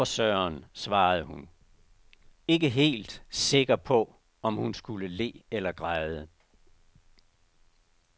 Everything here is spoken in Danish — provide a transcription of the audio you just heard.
Nå for søren, svarede hun, ikke helt sikker på om hun skulle le eller græde.